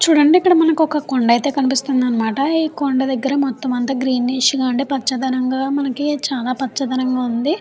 చూడండి ఇక్కడ మనకి ఒక కొండ అయితే కనిపిస్తుంది అనమాట ఈ కొండ దగ్గర మొత్తం అంత గ్రీనిష్ గా పచ్చదనం గా మనకి చాలా పచ్చదనం గా ఉంది.